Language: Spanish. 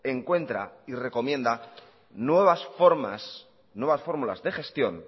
encuentra y recomienda nuevas formas nuevas fórmulas de gestión